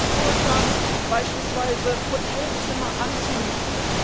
Es gibt einen Vorschlag, beispielsweise Hotelzimmer anzumieten.